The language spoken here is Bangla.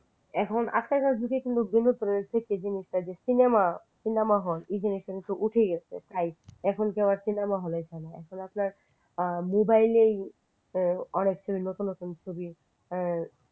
এখন আজকালকার যুগে কিন্তু cinema cinema hall হল এই জিনিসটা উঠেই গেছে প্রায় এখনর cinema হলে যায় না এখন আপনার mobile অনেক সব নতুন নতুন ছবি